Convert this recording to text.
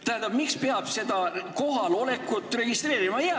Tähendab, miks peab seda kohalolekut registreerima?